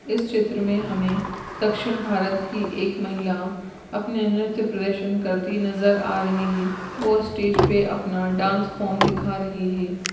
इस चित्र मे हमे दक्षिण भारत की एक महिला अपने नृत्य प्रदर्शन करती नजर आ रही है वो स्टेज पे अपना डांस फॉर्म दिखा रही है।